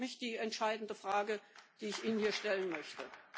Das ist für mich die entscheidende Frage, die ich Ihnen hier stellen möchte.